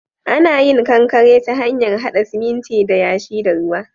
Ana yin kankare ta hanyar haɗa siminti da yashi da ruwa.